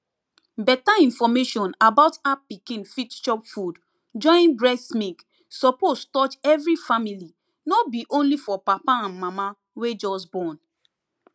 beta information about how pikin fit chop food join breast milk suppose touch every family no be only for papa and mama wey just born